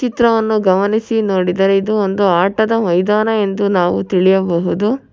ಚಿತ್ರವನ್ನು ಗಮನಿಸಿ ನೋಡಿದರೆ ಇದು ಒಂದು ಆಟದ ಮೈದಾನ ಎಂದು ನಾವು ತಿಳಿಯಬಹುದು.